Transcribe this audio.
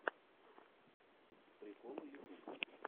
приколы ютуб